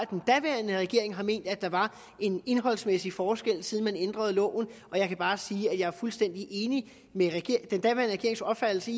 den daværende regering har ment at der var en indholdsmæssig forskel altså siden man ændrede loven jeg kan bare sige at jeg er fuldstændig enig med den daværende regerings opfattelse